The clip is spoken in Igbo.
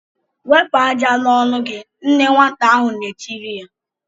"Wepụ ájá n'ọnụ gị!" Nne nwata ahụ na-etiri ya.